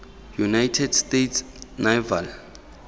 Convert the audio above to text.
united states naval